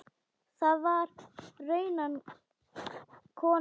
Það var raunar konan hans.